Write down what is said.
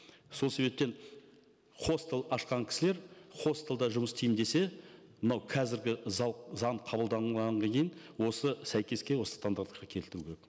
сол себептен хостел ашқан кісілер хостелда жұмыс істеймін десе мынау қазіргі заң қабылданғанға дейін осы сәйкеске осы стандартқа келтіру керек